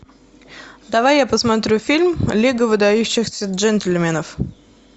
давай я посмотрю фильм лига выдающихся джентльменов